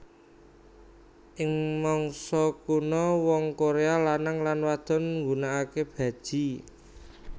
Ing mangsa kuno wong Korea lanang lan wadon nggunakake baji